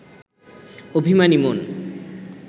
অভিমানী মন